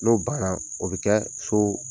N'o baanan o bɛ kɛ so